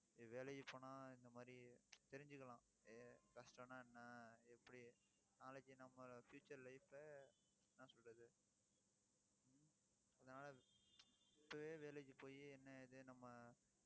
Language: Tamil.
வேலைக்கு போனா இந்த மாதிரி தெரிஞ்சுக்கலாம். எ~ கஷ்டம்னா என்ன எப்படி நாளைக்கு நம்ம future life அ என்ன சொல்றது இதனால இப்பவே வேலைக்கு போயி என்ன ஏது நம்ம